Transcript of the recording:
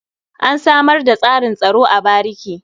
An samar da tsarin tsaro a bariki.